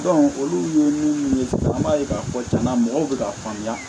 olu ye minnu ye an b'a ye k'a fɔ cɛna mɔgɔw bɛ k'a faamuya